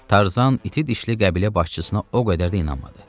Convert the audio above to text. Tarzan iti dişli qəbilə başçısına o qədər də inanmadı.